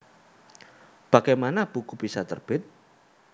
Bagaimana Buku Bisa Terbit